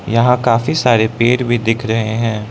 यहां काफी सारे पेड़ भी दिख रहे हैं।